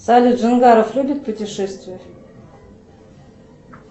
салют дженгаров любит путешествовать